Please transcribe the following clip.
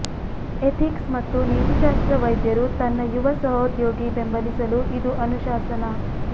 ethics ಮತ್ತು ನೀತಿಶಾಸ್ತ್ರ ವೈದ್ಯರು ತನ್ನ ಯುವ ಸಹೋದ್ಯೋಗಿ ಬೆಂಬಲಿಸಲು ಇದು ಅನುಶಾಸನ